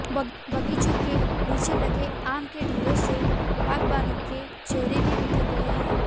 बागीचों के नीचे लगे आम के ढेरों से बागबानों के चेहरे भी उतर गए हैं